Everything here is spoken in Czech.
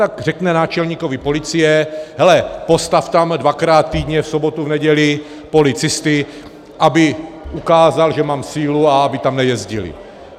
Tak řekne náčelníkovi policie: hele, postav tam dvakrát týdně, v sobotu, v neděli, policisty, aby ukázali, že mám sílu, a aby tam nejezdili.